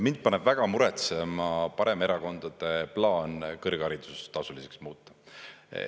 Mind paneb väga muretsema paremerakondade plaan kõrgharidus tasuliseks muuta.